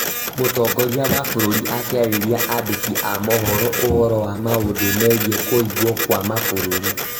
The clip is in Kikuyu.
Mũtongoria wa bũrũri akĩarĩria andĩki a mohoro ũhoro wa maũndũ megiĩ kũhingwo kwa mabũrũri